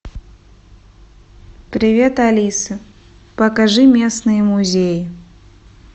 привет алиса покажи местные музеи